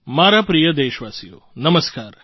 મારા પ્રિય દેશવાસીઓ નમસ્કાર